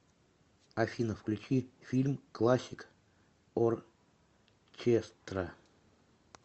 афина включи фильм классик оркестра